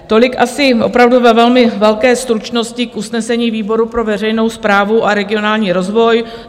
Tolik asi opravdu ve velmi velké stručnosti k usnesení výboru pro veřejnou správu a regionální rozvoj.